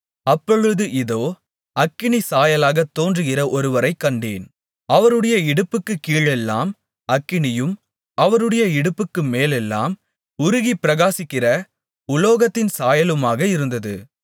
அப்பொழுது இதோ அக்கினிச்சாயலாகத் தோன்றுகிற ஒருவரைக் கண்டேன் அவருடைய இடுப்புக்குக் கீழெல்லாம் அக்கினியும் அவருடைய இடுப்புக்கு மேலெல்லாம் உருகிப்பிரகாசிக்கிற உலோகத்தின் சாயலுமாக இருந்தது